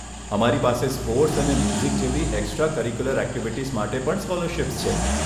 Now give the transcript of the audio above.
અમારી પાસે સ્પોર્ટ્સ અને મ્યુઝિક જેવી એકસ્ટ્રા કરીક્યુલર એક્ટિવિટીઝ માટે પણ સ્કોલરશીપ્સ છે.